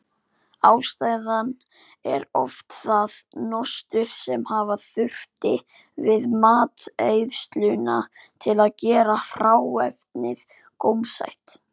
Ástæðan er oft það nostur sem hafa þurfti við matreiðsluna til að gera hráefnið gómsætt.